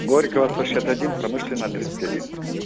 горького сто шестьдесят один промышленная тридцать один